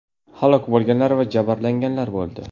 Halok bo‘lganlar va jabrlanganlar bo‘ldi.